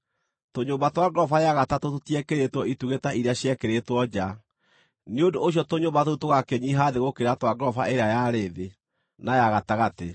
Tũnyũmba twa ngoroba ya gatatũ tũtiekĩrĩtwo itugĩ ta iria ciekĩrĩtwo nja; nĩ ũndũ ũcio tũnyũmba tũu tũgakĩnyiiha thĩ gũkĩra twa ngoroba ĩrĩa yarĩ thĩ, na ya gatagatĩ.